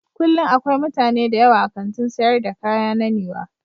Kullum akwai mutane da yawa a kantin sayar da kaya na Niwa